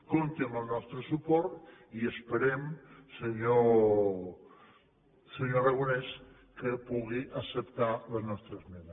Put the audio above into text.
compti amb el nostre suport i esperem senyor aragonès que pugui acceptar la nostra esmena